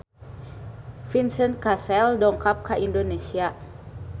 Vincent Cassel dongkap ka Indonesia